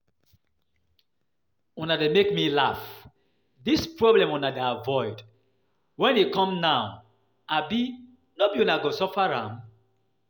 Una dey make me laugh, dis problem una dey avoid, when e come now no be una go suffer am?